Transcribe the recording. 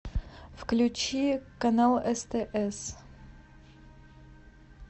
включи канал стс